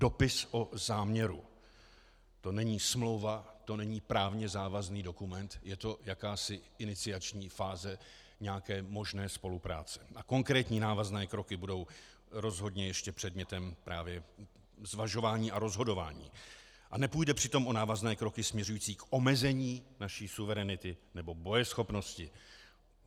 Dopis o záměru - to není smlouva, to není právě závazný dokument, je to jakási iniciační fáze nějaké možné spolupráce a konkrétní návazné kroky budou rozhodně ještě předmětem právě zvažování a rozhodování a nepůjde přitom o návazné kroky směřující k omezení naší suverenity nebo bojeschopnosti.